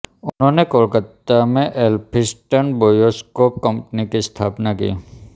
उन्होंने कोलकाता में Elphinstone bioscope company की स्थापना भी की